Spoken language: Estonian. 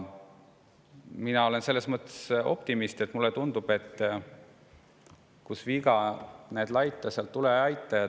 Mina olen selles mõttes optimist, et mulle tundub, et kus viga näed laita, seal tule ja aita.